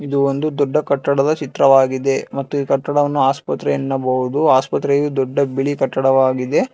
ಇದು ಒಂದು ದೊಡ್ಡ ಕಟ್ಟಡದ ಚಿತ್ರವಾಗಿದೆ ಮತ್ತು ಈ ಕಟ್ಟಡವನ್ನು ಆಸ್ಪತ್ರೆ ಎನ್ನಬಹುದು ಆಸ್ಪತ್ರೆಯು ದೊಡ್ಡ ಬಿಳಿ ಕಟ್ಟಡವಾಗಿದೆ.